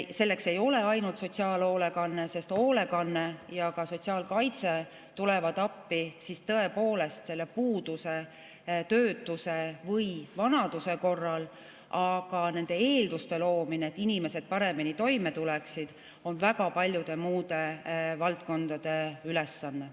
Selleks ei ole vaja kasutada ainult sotsiaalhoolekannet, sest hoolekanne ja ka sotsiaalkaitse tulevad appi tõepoolest puuduse, töötuse või vanaduse korral, aga nende eelduste loomine, et inimesed paremini toime tuleksid, on väga paljude muude valdkondade ülesanne.